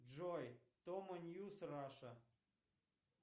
джой тома ньюс раша